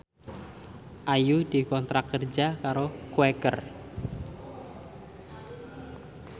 Ayu dikontrak kerja karo Quaker